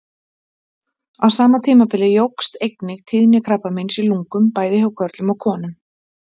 Á sama tímabili jókst einnig tíðni krabbameins í lungum, bæði hjá körlum og konum.